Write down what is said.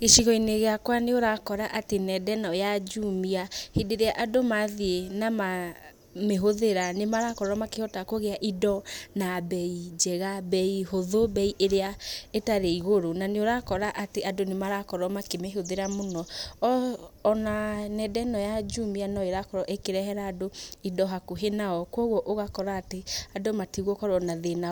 Gĩcigo-inĩ gĩakwa nĩ ũrakora atĩ nenda ĩno ya JUMIA hĩndĩ ĩrĩa andũ mathiĩ na mamĩhũthĩra nĩ marakorwo makĩhota kũgĩa indo na mbei njega mbei hũthũ, mbei ĩrĩa ĩtarĩ igũrũ. Na nĩ ũrakora atĩ andũ nĩ marakorwo makĩmĩhũthĩra mũno. Ona nenda ĩno ya JUMIA no ĩrakorwo ĩkĩrehera andũ indo hakuhĩ nao. Koguo ũgakora atĩ, andũ matigũkorwo na thĩna